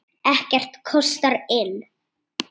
Ekkert kostar inn.